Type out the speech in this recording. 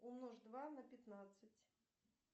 умножь два на пятнадцать